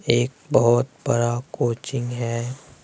एक बहुत बड़ा कोचिंग है।